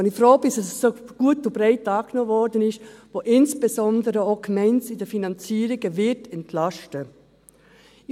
Etwas, bei dem ich froh bin, dass es so gut und breit angenommen wurde, das insbesondere auch die Gemeinden in den Finanzierungen entlasten wird.